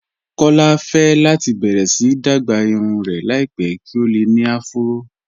Kọlá fẹ́ láti bẹ̀rẹ̀ sí dágbà irùn rẹ̀ láìpẹ̀ kí o lè ní àfúró